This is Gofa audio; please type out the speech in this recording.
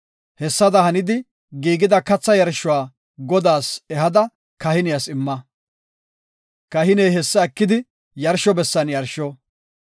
Hessada hanidi giigida kathaa yarshuwa Godaas ehada kahiniyas imma; kahiney hessa ekidi yarsho bessan yarsho.